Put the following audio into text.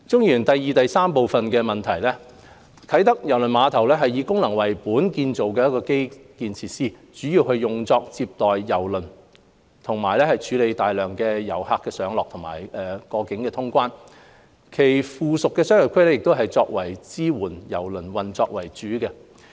二及三啟德郵輪碼頭是以功能為本建造的基建設施，主要用作接待郵輪和處理大量遊客上落及過境通關，其附屬商業區亦以支援郵輪運作為主。